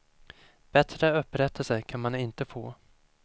Bättre upprättelse kan man inte få.